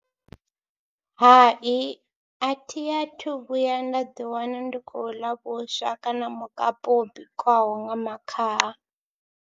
Hai athi athu vhuya nda ḓiwana ndi khou ḽa vhuswa kana mukapu wo bikiwaho nga makhaha.